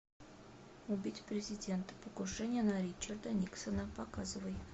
убить президента покушение на ричарда никсона показывай